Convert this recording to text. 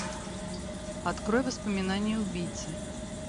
открой воспоминания убийцы